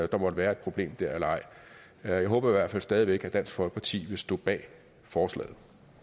der måtte være et problem der eller ej jeg håber i hvert fald stadig væk at dansk folkeparti vil stå bag forslaget